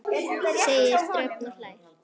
segir Dröfn og hlær við.